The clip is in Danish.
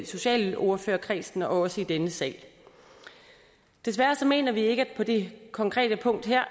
socialordførerkredsen og også i denne sal desværre så mener vi ikke at det på det konkrete punkt her